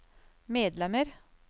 medlemmer